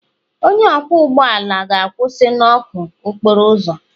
Onye ọkwọ ụgbọ ala ga-akwụsị na ọkụ okporo ụzọ.